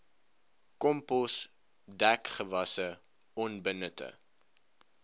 kompos dekgewasse onbenutte